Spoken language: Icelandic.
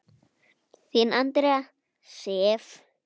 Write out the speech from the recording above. Þín Andrea Sif.